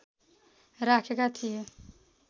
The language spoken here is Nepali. राखेका थिए